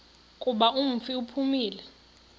kuba umfi uphumile